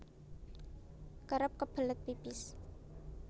Kerep kebelet pipis